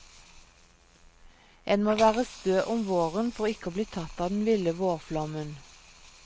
En må være stø om våren for ikke å bli tatt av den ville vårflommen.